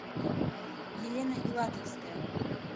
елена илатовская